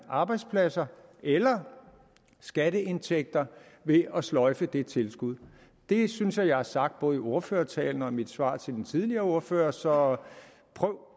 arbejdspladser eller skatteindtægter ved at sløjfe det tilskud det synes jeg at jeg har sagt både i ordførertalen og i mit svar til den tidligere ordfører så prøv